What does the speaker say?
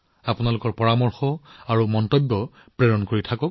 আপোনালোকৰ পৰামৰ্শ আৰু চিন্তাধাৰা মোলৈ প্ৰেৰণ কৰি থাকিব